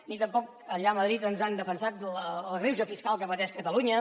ni tampoc allà a madrid ens han defensat del greuge fiscal que pateix catalunya